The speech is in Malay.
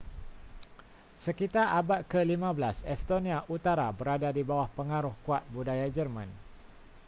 sekitar abad ke-15 estonia utara berada di bawah pengaruh kuat budaya german